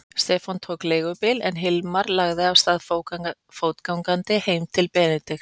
Stefán tók leigubíl en Hilmar lagði af stað fótgangandi heim til Benedikts.